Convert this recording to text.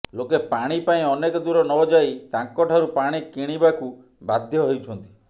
ଲୋକେ ପାଣି ପାଇଁ ଅନେକ ଦୂର ନଯାଇ ତାଙ୍କଠାରୁ ପାଣି କିଣିବାକୁ ବାଧ୍ୟ ହେଉଛନ୍ତି